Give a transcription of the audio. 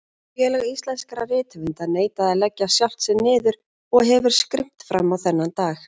Félag íslenskra rithöfunda neitaði að leggja sjálft sig niður og hefur skrimt frammá þennan dag.